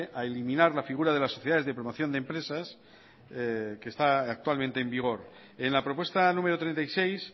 a eliminar la figura de las sociedades de promoción de empresas que está actualmente en vigor en la propuesta número treinta y seis